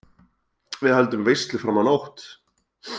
Við höldum veislu fram á nótt.